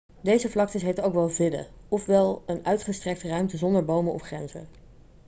deze vlaktes heten ook wel vidde' oftewel een uitgestrekte ruimte zonder bomen of grenzen